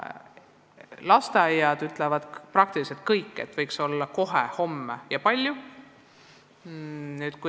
Lasteaiad ütlevad praktiliselt kõik, et neid võiks rohkem olla, ja palju rohkem.